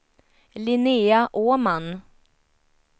Linnea Åman